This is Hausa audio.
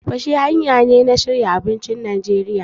Tafasa hanya ce ta shirya abincin Najeriya.